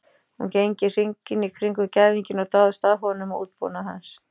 Hún gengur hringinn í kringum gæðinginn og dáist að honum og útbúnaði hans.